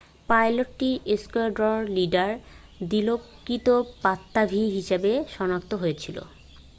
পাইলটটি squadron leader দিলোকৃত পাত্তাভী হিসেবে শনাক্ত হয়েছিল